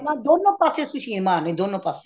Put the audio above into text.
ਪਹਿਲਾਂ ਦੋਨੋ ਪਾਸੇ ਸੀਨ ਮਾਰਨੀ ਦੋਨੋ ਪਾਸੇ